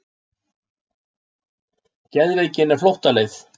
Geðveikin er flóttaleið.